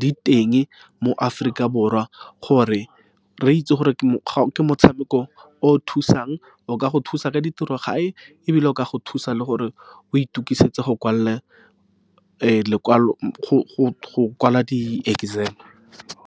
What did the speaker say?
di teng mo Aforika Borwa, gore re itse gore ke motshameko o o thusang. O ka go thusa ka ditiro gae, ebile o ka go thusa le gore o itokisetsa go kwala lekwalo go kwala di-exam-e.